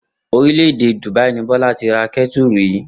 Orílè̩-èdè Dùbáí ni Bó̩lá ti ra ké̩tùrù yìí